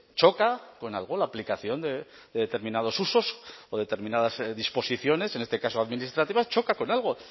choca con algo la aplicación de determinados usos o determinadas disposiciones en este caso administrativas choca con algo